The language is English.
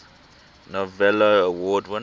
novello award winners